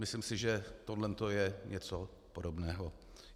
Myslím si, že tohle je něco podobného.